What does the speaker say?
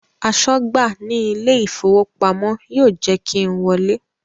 Aṣọ́gbà ní ilé ìfowópamọ́ yóò jẹ́ kí n wọlé